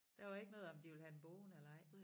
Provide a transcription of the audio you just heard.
Der var ikke noget om de ville have dem boende eller ej